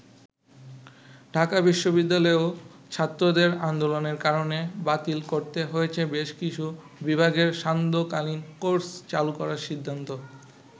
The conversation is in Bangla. ঢাকা বিশ্ববিদ্যালয়েও ছাত্রদের আন্দোলনের কারণে বাতিল করতে হয়েছে বেশ কিছু বিভাগের সান্ধ্য কালীন কোর্স চালু করার সিদ্ধান্ত।